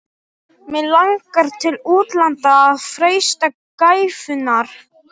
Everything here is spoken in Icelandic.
Mig langar til útlanda að freista gæfunnar.